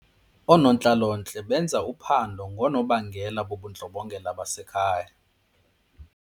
Oonontlalontle benza uphando ngoonobangela bobundlobongela basekhaya.